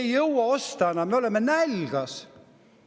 Me ei jõua enam osta, me oleme näljas.